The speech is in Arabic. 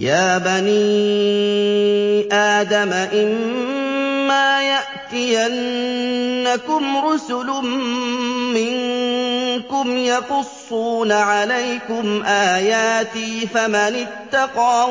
يَا بَنِي آدَمَ إِمَّا يَأْتِيَنَّكُمْ رُسُلٌ مِّنكُمْ يَقُصُّونَ عَلَيْكُمْ آيَاتِي ۙ فَمَنِ اتَّقَىٰ